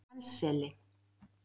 Fellsseli